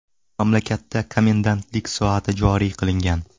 Mamlakatda komendantlik soati joriy qilingan .